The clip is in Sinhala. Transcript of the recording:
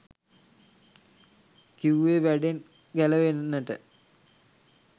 කිව්වෙ වැඩෙන් ගැලවෙන්නට